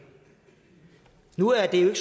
nu er det jo